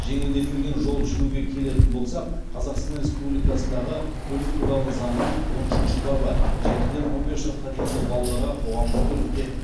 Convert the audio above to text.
жеңілдетілген жол жүруге келетін болсақ қазақстан республикасындағы көлік туралы заңның он үшінші бабы жетіден он бес жасқа дейінгі балаларға қоғамдық көлікте